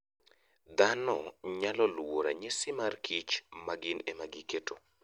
Dhano nyalo luwo ranyisi mar kich ma gin ema giketo.